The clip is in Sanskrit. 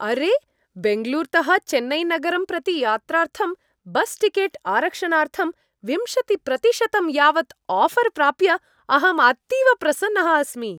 अरे, बेङ्गलूरुतः चेन्नैनगरं प्रति यात्रार्थं बस् टिकेट् आरक्षणार्थं विंशतिप्रतिशतं यावत् आऴर् प्राप्य अहं अतीव प्रसन्नः अस्मि।